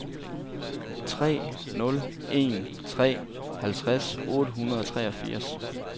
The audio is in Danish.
tre nul en tre halvtreds otte hundrede og treogfirs